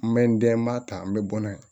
N bɛ n den n b'a ta n bɛ bɔ n'a ye